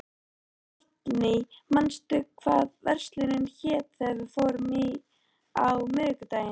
Hallný, manstu hvað verslunin hét sem við fórum í á miðvikudaginn?